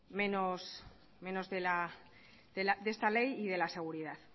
menos de esta ley y de la seguridad